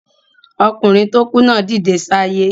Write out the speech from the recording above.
Okùnrin tó kú náà dìde sáyé